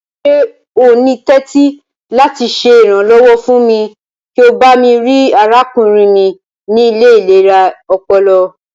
Ṣe o ni tẹ̀tì lati ṣe iranlọwọ fún mi kí o bami rii arákúnrin mi ni ile ilera ọpọlọ?